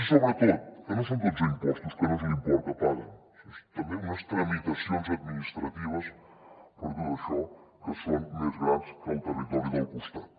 i sobretot que no són dotze impostos que no és l’import que paguen són també unes tramitacions administratives per a tot això que són més grans que al territori del costat